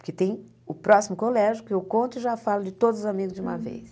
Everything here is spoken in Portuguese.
Porque tem o próximo colégio, que eu conto e já falo de todos os amigos de uma vez.